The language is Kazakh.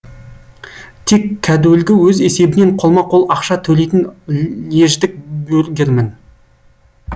тек кәдуілгі өз есебінен қолма қол ақша төлейтін льеждік бюргермін